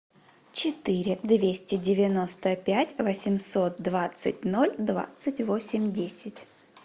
четыре двести девяносто пять восемьсот двадцать ноль двадцать восемь десять